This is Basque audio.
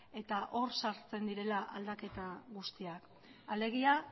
eta hor sartzen direla aldaketa guztiak alegia